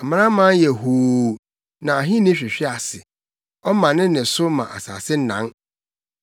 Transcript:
Amanaman yɛ hoo, na ahenni hwehwe ase; ɔma ne nne so ma asase nan.